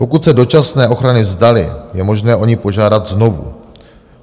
Pokud se dočasné ochrany vzdali, je možné o ni požádat znovu.